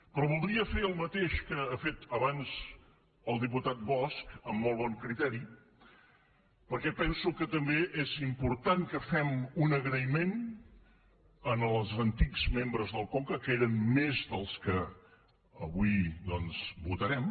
però voldria fer el mateix que ha fet abans el diputat bosch amb molt bon criteri perquè penso que també és important que fem un agraïment als antics membres del conca que eren més dels que avui votarem